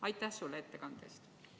Aitäh sulle ettekande eest!